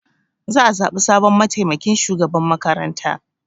Za a zaɓi sabon mataimakin shugaban makaranta.